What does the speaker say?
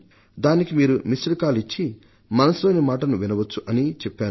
దానికి మీరు missed call ఇచ్చి మన్ కీ బాత్ మనసు లోని మాట కార్యక్రమాన్ని వినవచ్చు అని చెప్పాను